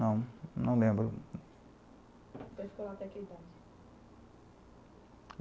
Não, não, lembro. Você ficou lá